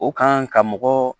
O kan ka mɔgɔ